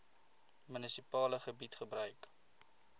munisipale gebied gebruik